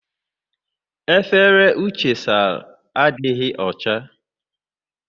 Efere Uche sara adịghị ọcha.